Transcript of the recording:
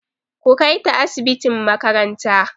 Ku kai ta asibitin makaranta!